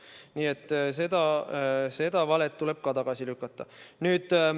Nii et see vale tuleb ka tagasi lükata.